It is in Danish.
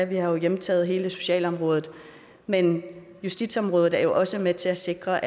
vi har jo hjemtaget hele socialområdet men justitsområdet er også med til at sikre